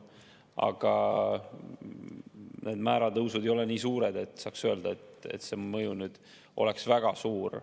Aga need määratõusud ei ole nii suured, et saaks öelda, et see mõju oleks väga suur.